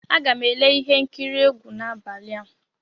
Aga m ele ihe nkiri egwu n'abalị a.